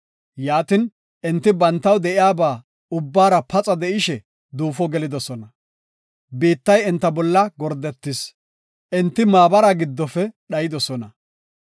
Yaatin enti bantaw de7iyaba ubbaara paxa de7ishe, duufo gelidosona. Biittay enta bolla gordetis; enti maabara giddofe dhayidosona.